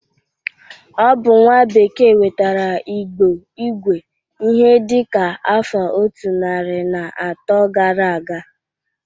Ọ bụ nwa bekee wetara Igbo igwe ihe dịka afọ otu narị na atọ gara aga.